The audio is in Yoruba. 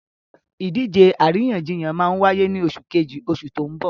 Ìdíje àríyànjiyàn máa wáyé ní oṣù Kejì oṣù tó n bò